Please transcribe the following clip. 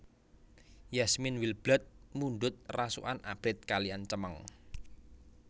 Yasmine Wildblood mundhut rasukan abrit kaliyan cemeng